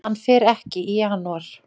Hann fer ekki í janúar.